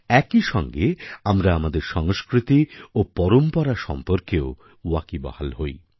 একই সঙ্গে আমরা আমাদের সংস্কৃতি ও পরম্পরা সম্পর্কেও ওয়াকিবহাল হই